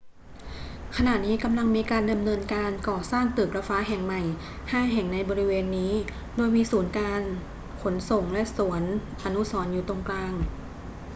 ขณะนี้กำลังมีการดำเนินการก่อสร้างตึกระฟ้าแห่งใหม่ห้าแห่งในบริเวณนี้ โดยมีศูนย์การขนส่งและสวนอนุสรณ์อยู่ตรงกลาง